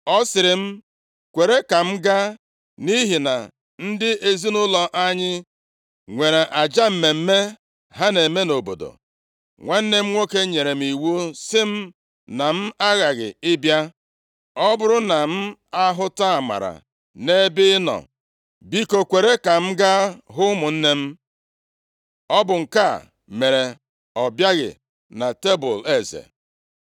Ọ sịrị m, ‘Kwere ka m gaa nʼihi na ndị ezinaụlọ anyị nwere aja mmemme ha na-eme nʼobodo. Nwanne m nwoke nyere m iwu sị m na m aghaghị ịbịa. Ọ bụrụ na m ahụta amara nʼebe ị nọ, biko kwere ka m gaa hụ ụmụnne m.’ Ọ bụ nke a mere ọ bịaghị na tebul eze.”